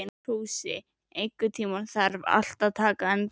Fúsi, einhvern tímann þarf allt að taka enda.